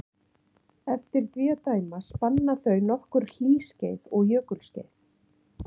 Eftir því að dæma spanna þau nokkur hlýskeið og jökulskeið.